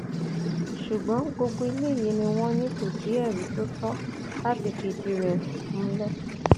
ṣùgbọn gbogbo eléyìí ni wọn ní kò sí ẹrí tó tọ láti fìdí rẹ rẹ múlẹ